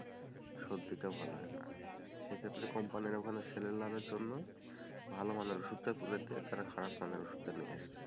সর্দিটা ভালো হয় না, সেক্ষেত্তে কোম্পানির ওখানে সেল লাভের জন্য, ভালো মানের ওষুধটা তুলে দিয়ে তারা খারাপ মানের ওষুধ টা নিয়ে আসে,